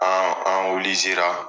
An an